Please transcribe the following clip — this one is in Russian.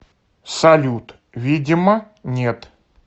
салют видимо нет